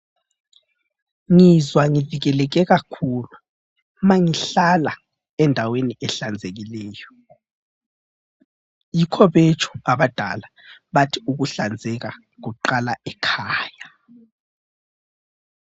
Ngizwa ngivekeleke kakhulu uma ngihlala endaweni ehlanzekileyo, yikho betsho abadala bathi ukuhlanzeka kuqala ekhaya.